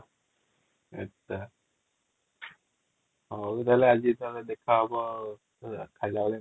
ହାଉ ତାହେଲେ ଆଜି ଟା ଦେଖା ହବ |